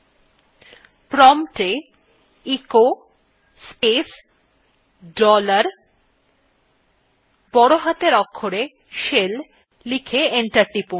prompt এ echo space dollar বড় হাতের অক্ষরে shell লিখে enter টিপুন